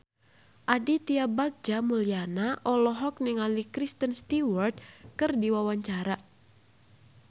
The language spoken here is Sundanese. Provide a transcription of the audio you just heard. Aditya Bagja Mulyana olohok ningali Kristen Stewart keur diwawancara